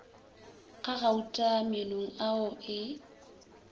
ga gauta meenong ao e